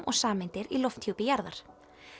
og sameindir í lofthjúpi jarðar